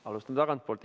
Alustan tagantpoolt.